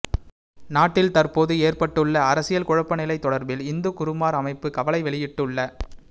நாட்டில் தற்போது ஏற்பட்டுள்ள அரசியல் குழப்ப நிலை தொடர்பில் இந்து குருமார் அமைப்பு கவலை வெளியிட்டுள்ள